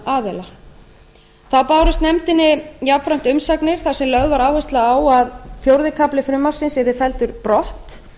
hagsmunaaðila þá bárust nefndinni jafnframt umsagnir þar sem lögð var áhersla á að fjórði kafli frumvarpsins yrði felldur brott